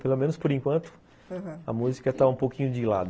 Pelo menos, por enquanto, aham, a música está um pouquinho de lado.